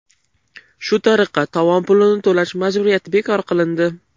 Shu tariqa, tovon pulini to‘lash majburiyati bekor qilindi.